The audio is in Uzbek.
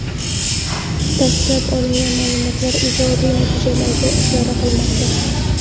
Dastlab olingan ma’lumotlar ijobiy natijalarga ishora qilmoqda.